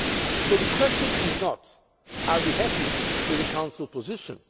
So the question is not whether we are happy with the Council position.